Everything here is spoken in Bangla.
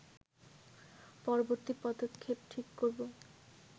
পরবর্তী পদক্ষেপ ঠিক করব